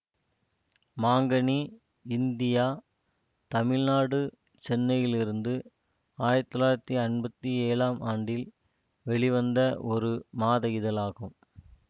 மாங்கனி இந்தியா தமிழ்நாடு சென்னையிலிருந்து ஆயிரத்தி தொள்ளாயிரத்தி ஐம்பத்தி ஏழாம் ஆண்டில் வெளிவந்த ஒரு மாத இதழாகும்